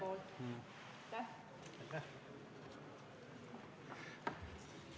Aitäh!